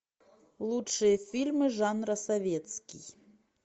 лучшие фильмы жанра советский